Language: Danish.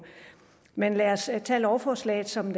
men lad os tage lovforslaget som